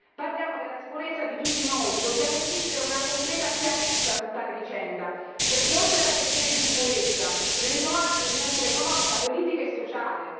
Parliamo della sicurezza di tutti noi. Dobbiamo esigere una completa chiarezza su tale vicenda, perché oltre alla questione di sicurezza ve ne sono altre di natura economica, politica e sociale.